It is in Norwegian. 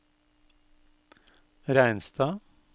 Reinstad